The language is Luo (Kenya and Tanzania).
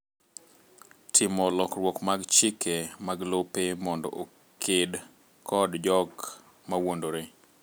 Timo lokruok mag chike mag lope mondo oked kod jok mawuondore